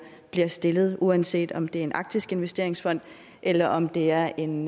bliver stillet uanset om det er en arktisk investeringsfond eller om det er en